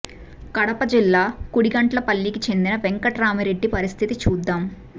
కడప జిల్లా కుడిగండ్లపల్లి కి చెందిన వెంకట్రామిరెడ్డి పరిస్థితి చూద్దాం